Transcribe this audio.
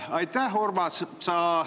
Aitäh, Urmas!